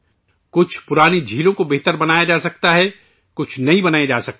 کچھ پرانے سرووروں کو سدھارا جا سکتا ہے، کچھ نئے سروور بنائے جا سکتے ہیں